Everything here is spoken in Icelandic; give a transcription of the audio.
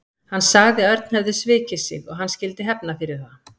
Hann sagði að Örn hefði svikið sig og hann skyldi hefna fyrir það.